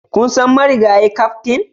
Kun san marigayi kaftin?